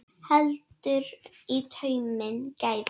Heldur í tauminn gæfa.